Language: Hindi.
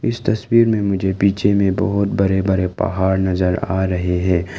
इस तस्वीर में मुझे पीछे में बहोत बड़े बड़े पहाड़ नजर आ रहे हैं।